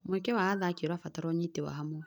Mweke wa athaki ũrabatara ũnyiti wa hamwe.